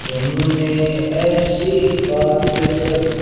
तुमने ऐसी बात कही।